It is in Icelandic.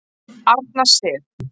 Arna Sif.